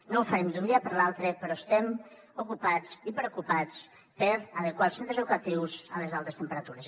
no ho farem d’un dia per l’altre però estem ocupats i preocupats per adequar els centres educatius a les altes temperatures